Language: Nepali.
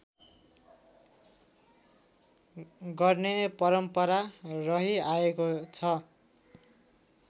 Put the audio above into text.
गर्ने परम्परा रहीआएको छ